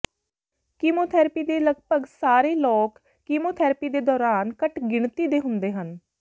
chemotherapy ਦੇ ਲਗਭਗ ਸਾਰੇ ਲੋਕ ਕੀਮੋਥੈਰੇਪੀ ਦੇ ਦੌਰਾਨ ਘੱਟ ਗਿਣਤੀ ਦੇ ਹੁੰਦੇ ਹਨ